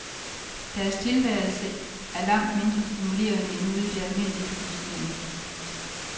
Deres tilværelse et langt mindre stimulerende end ude i det almindelige pulserende liv.